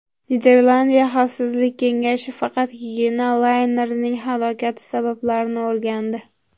Niderlandiya xavfsizlik kengashi faqatgina laynerning halokati sabablarini o‘rgandi.